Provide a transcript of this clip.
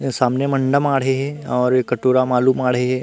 ए सामने म अंडा माड़े हे और ए कटोरा म आलू माड़े हे।